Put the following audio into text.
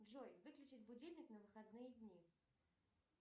джой выключить будильник на выходные дни